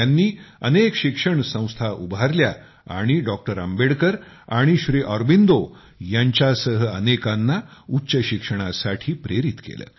त्यांनी अनेक शिक्षण संस्था उभारल्या आणि डॉ आंबेडकर आणि श्री ऑरोबिन्दो यांच्यासह अनेकांना उच्च शिक्षणासाठी प्रेरित केले